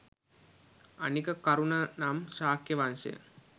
අනික කරුන නම් ශාක්‍ය වංශය